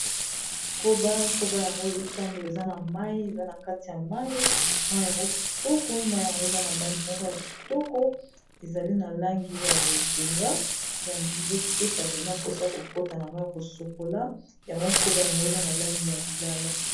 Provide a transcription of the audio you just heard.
Koba, koba yango ezotambola eza na mayi eza na kati ya mayi, mayi yango kitoko mayi yango eza na langi moko ya kitoko ezali na langi ya bozinga ezopesa mpena mposa kokota na mayi kosokola yango koba yango eza na langi ya lilala.